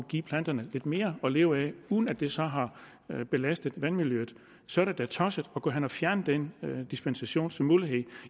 give planterne lidt mere at leve af uden at det så har belastet vandmiljøet så er det da tosset at gå hen og fjerne den dispensationsmulighed